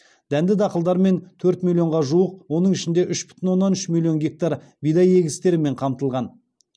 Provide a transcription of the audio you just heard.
дәнді дақылдармен төрт миллионға жуық оның ішінде үш бүтін оннан үш миллион гектар бидай егістерімен қамтылған